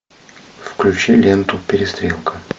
включи ленту перестрелка